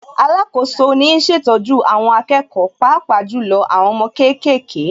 Alákoso ni ń ṣètọ́jú àwọn akẹ́kọ̀ọ́ Pàápàá jù lọ àwọn ọmọ kéékèèké